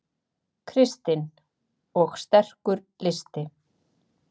Kristinn: Og sterkur listi?